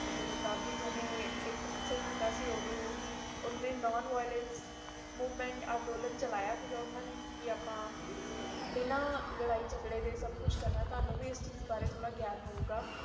ਜਦੋ ਗਾਂਧੀ ਜੀ ਨੇ ਨੂੰ ਵਿਓਲੰਤ ਮੂਵਮੈਂਟ ਕਿੱਤੀ ਸੀ ਕ ਬਘੇਰ ਲਾਰਾਇ ਜਘਰੇ ਦੇ ਕਾਮ ਕਰਨਾ ਹੈ ਇਸ ਬਾਰੇ ਵਿਚ ਤੁਵਾਂਨੂੰ ਵੀ ਥੋਰਆ ਗਈਆਂ ਹੋਗਾ